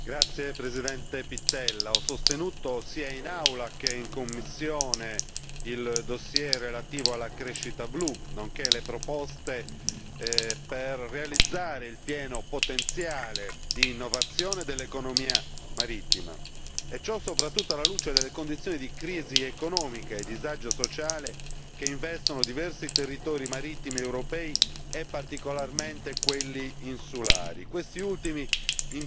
Signor Presidente, onorevoli colleghi, ho sostenuto sia in Aula sia in commissione il dossier relativo alla crescita blu nonché le proposte per realizzare il pieno potenziale di innovazione dell'economia marittima e ciò soprattutto alla luce delle condizioni di crisi economica e disagio sociale che investono diversi territori marittimi europei e in particolare quelli insulari.